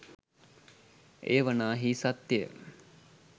එය වනාහී සත්‍යය